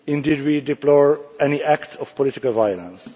Indeed, we deplore any act of political violence.